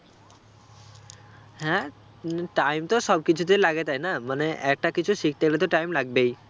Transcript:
হ্যাঁ উম time তো সব কিছুতেই লাগে তাই না মানে একটা কিছু শিখতে গেলে তো time লাগবেই